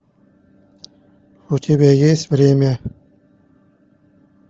у тебя есть время